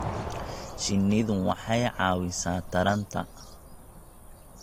Shinnidu waxay caawisaa taranta